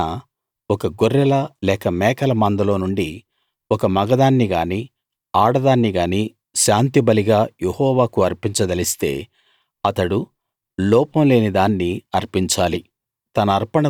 ఎవరైనా ఒక గొర్రెల లేక మేకల మందలో నుండి ఒక మగదాన్ని గానీ ఆడదాన్ని గానీ శాంతిబలిగా యెహోవాకు అర్పించదలిస్తే అతడు లోపం లేని దాన్ని అర్పించాలి